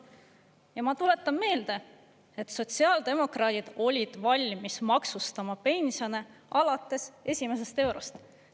Ja ma tuletan meelde, et sotsiaaldemokraadid olid valmis maksustama pensione alates esimesest eurost.